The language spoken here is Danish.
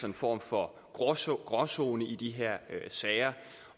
en form for gråzone gråzone i de her sager